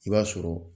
I b'a sɔrɔ